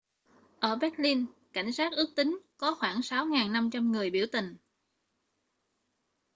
ở berlin cảnh sát ước tính có khoảng 6.500 người biểu tình